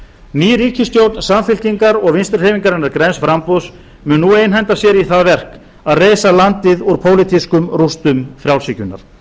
ný ríkisstjórn samfylkingar og vinstri hreyfingarinnar græns framboðs mun nú einhenda sér í það verk að reisa landið úr pólitískum rústum frjálshyggjunnar